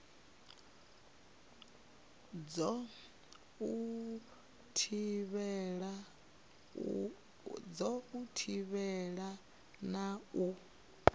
dza u thivhela na u